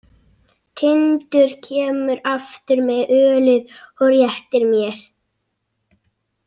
Tindur kemur aftur með ölið og réttir mér.